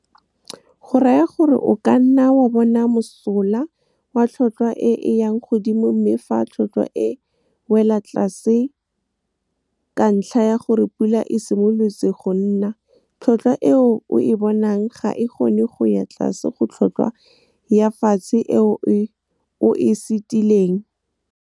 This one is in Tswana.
Go raya gore o ka nna wa bona mosola wa tlhotlhwa e e yang godimo mme fa tlhotlhwa e wela tlase ka ntlha ya gore pula e simolotse go na, tlhotlhwa e o e bonang ga e kgone go ya tlase ga tlhotlhwa ya fatshe e o e setileng. Go raya gore o ka nna wa bona mosola wa tlhotlhwa e e yang godimo mme fa tlhotlhwa e wela tlase ka ntlha ya gore pula e simolotse go na, tlhotlhwa e o e bonang ga e kgone go ya tlase ga tlhotlhwa ya fatshe e o e setileng.